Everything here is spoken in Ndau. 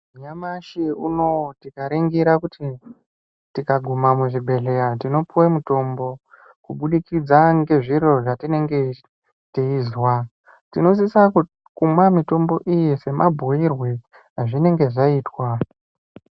Nyamashi unowu tikaringira kuti tikaguma muzvibhedhleya tinopuwa mutombo kubudikidza ngezviro zvetinenge teizwa tinosisa kumwa mitombo iyi semabhiirwe azvinenge zvaitwa.